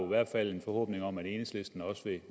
hvert fald en forhåbning om at enhedslisten